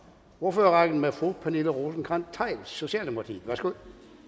ordførerrækken med fru pernille rosenkrantz theil socialdemokratiet værsgo